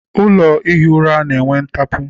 Ụlọ ihi ura na-enwe ntapu.